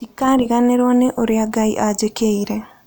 Ndikariganĩrũo nĩ ũrĩa Ngai anjĩkĩire.